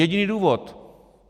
Jediný důvod?!